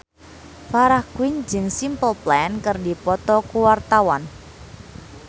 Farah Quinn jeung Simple Plan keur dipoto ku wartawan